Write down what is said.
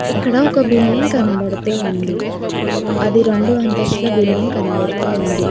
ఎక్కడ ఒక బిల్డింగ్ కనపడుతు ఉంది అది రెండు అంతస్తులు బిల్డింగ్ కనబడుతు ఉంది